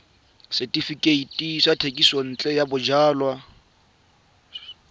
setefikeiti sa thekisontle ya bojalwa